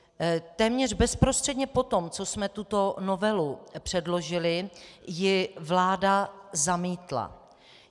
Téměř bezprostředně po tom, co jsme tuto novelu předložili, ji vláda zamítla.